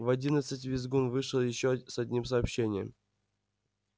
в одиннадцать визгун вышел ещё с одним сообщением